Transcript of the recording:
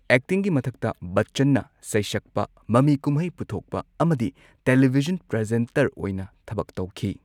ꯑꯦꯛꯇꯤꯡꯒꯤ ꯃꯊꯛꯇ ꯕꯆꯆꯟꯅ ꯁꯩꯁꯛꯄ, ꯃꯃꯤ ꯀꯨꯝꯍꯩ ꯄꯨꯊꯣꯛꯄ ꯑꯃꯗꯤ ꯇꯦꯂꯤꯚꯤꯖꯟ ꯄ꯭ꯔꯖꯦꯟꯇꯔ ꯑꯣꯏꯅ ꯊꯕꯛ ꯇꯧꯈꯤ ꯫